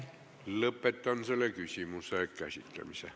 Lõpetan selle küsimuse käsitlemise.